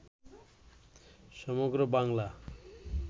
সমগ্র বাংলা